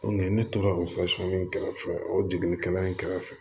ne tora o in kɛrɛfɛ o jiginikɛla in kɛrɛfɛ